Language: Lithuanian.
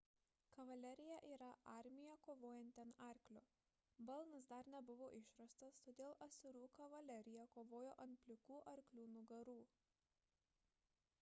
kavalerija yra armija kovojanti ant arklio balnas dar nebuvo išrastas todėl asirų kavalerija kovojo ant plikų arklių nugarų